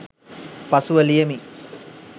පසුව ලියමි